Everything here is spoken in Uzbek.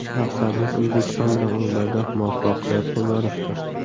Maqsadimiz O‘zbekiston bilan o‘yinlarda muvaffaqiyat qozonishdir.